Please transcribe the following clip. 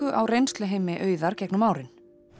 á reynsluheimi Auðar gegnum árin